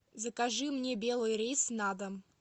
закажи мне белый рис на дом